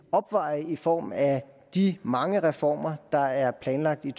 opveje det i form af de mange reformer der er planlagt i